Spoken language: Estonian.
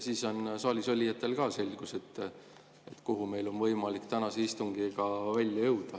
Siis on saalis olijatel ka selgus, kuhu meil on võimalik tänase istungiga välja jõuda.